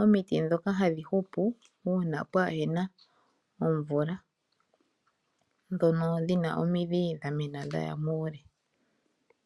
omiti dhoka hadhihupu una pwahena omvula dhono dhina omidhi dhamena dhaya muule.